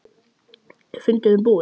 Er fundurinn búinn?